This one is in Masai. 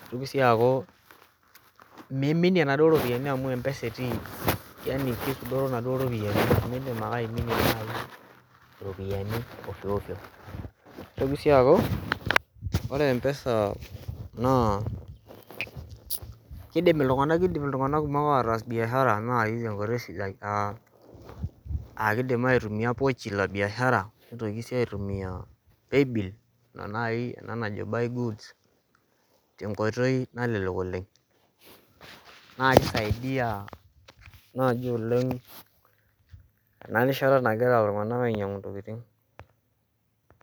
neitoki sii aaku miminie inaduoo ropiyiani amu mpesa etii keisudoro inaduoo ropiyiani nemiidim ake aiminie nayii iropiyiani ofyoofyo neitoki sii aaku ore mpesa naa keidim iltung'anak kumok ataas biashara naai tenkoitoi sidai aa keidim aitumia pochi la biashara nitoki sii aitumia paybill nena nayii ena najo buy goods tenkoitoi nalelek oleng' naa keisaidia naaji oleng' ena rishata nagira iltung'anak ainyang'u intokiting'